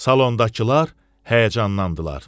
Salondakılar həyəcanlandılar.